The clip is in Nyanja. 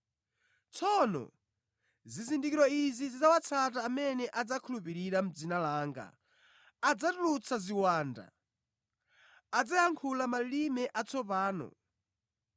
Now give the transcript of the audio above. Tsono zizindikiro izi zidzawatsata amene adzakhulupirira: Mʼdzina langa adzatulutsa ziwanda; adzayankhula malilime atsopano;